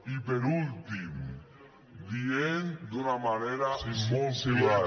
i per últim diem d’una manera molt clara